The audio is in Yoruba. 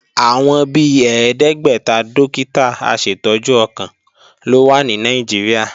Àwọn bi ẹ̀ẹ́dẹ́gbẹ́ta dókítà aṣètọ́jú ọkàn ló wà ní Nàìjíríà